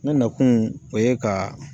Ne nakun o ye ka.